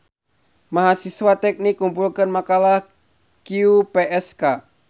Mahasiwa teknik ngumpulkeun makalah QPSK